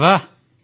ଆରେ ବାଃ